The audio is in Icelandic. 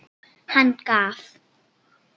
Hann gaf